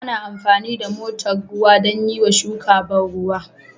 Ana amfani da motar ruwa don yiwa shuka ban ruwa